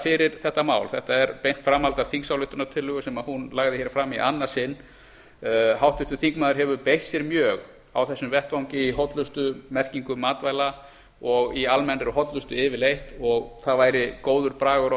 fyrir þetta mál þetta er beint framhald af þingsályktunartillögu sem hún lagði hér fram í annað sinn háttvirtur þingmaður hefur beitt sér mjög á þessum vettvangi í hollustumerkingum matvæla og í almennri hollustu yfirleitt og það væri góður bragur á